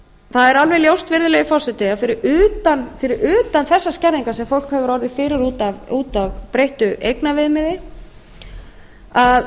er alveg ljóst virðulegi forseti að fyrir utan þessar skerðingar sem fólk hefur orðið fyrir út af breyttu eignaviðmiði þá er